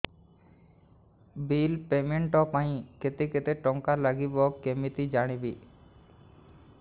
bill payment ପାଇଁ କେତେ କେତେ ଟଙ୍କା ଲାଗିବ କେମିତି ଜାଣିବି